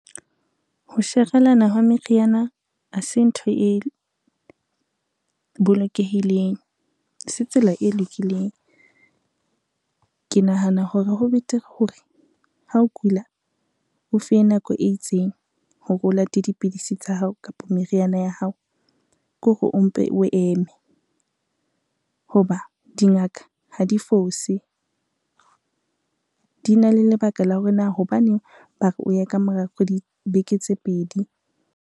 Ho sherelana hwa meriana ha se ntho e bolokehileng, ha se tsela e lokileng. Ke nahana hore ho betere hore, ha o kula o fiwe nako e itseng hore o late dipidisi tsa hao kapa meriana ya hao, ke hore o mpe o eme ho ba dingaka ha di fose di na le lebaka la hore na hobaneng bare o ye ka mora beke tse pedi.